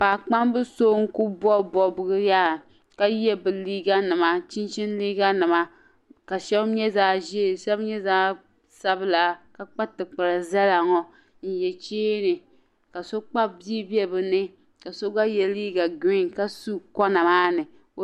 Pakpamb so n ku bɔbi bɔbigu yaa, ka ye bɛ liiga nima chinchini liiga nima, kashabi nyɛ zaɣi ʒɛɛ shabi nyɛ zaɣi sabila, ka kpa ti kpari zala ŋɔ, n ye cheeni ka so Kpabi bii be bi ni ka so gba ye liiga green ka di koba maa ni